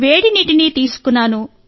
వేడి నీటిని తీసుకున్నాను